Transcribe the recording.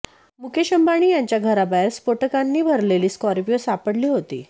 मुकेश अंबानी यांच्या घराबाहेर स्फोटकांनी भरलेली स्कॉर्पियो सापडली होती